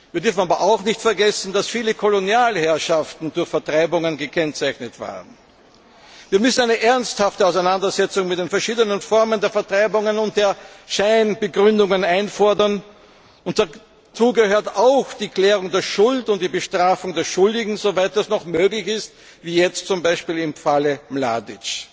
Wir dürfen aber auch nicht vergessen, dass viele Kolonialherrschaften durch Vertreibungen gekennzeichnet waren. Wir müssen eine ernsthafte Auseinandersetzung mit den verschiedenen Formen von Vertreibungen und der Scheinbegründungen einfordern. Dazu gehört auch die Klärung der Schuld und die Bestrafung der Schuldigen, jedenfalls soweit das noch möglich ist, wie jetzt zum Beispiel im Falle Mladič.